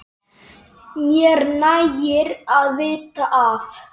Mér nægir að vita af